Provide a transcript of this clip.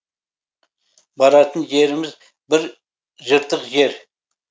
баратын жеріміз бір жыртық жер